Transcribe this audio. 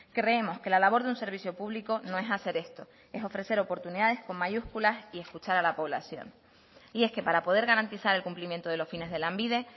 creemos que la labor de un servicio público no es hacer esto es ofrecer oportunidades con mayúsculas y escuchar a la población y es que para poder garantizar el cumplimiento de los fines de lanbide